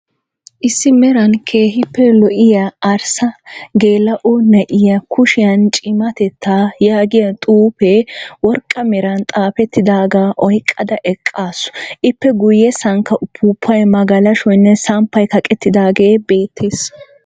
Issi meran keehippe lo"iyaa arssa geela"o na"iyaa, kushiyan cimatettaa yaagiya xuufee worqqa meran xaafettidaaga oyqqada eqqaasu. Ippe guyyessankka uffuufay, magalashoynne samppay kaqqettaagee beettees.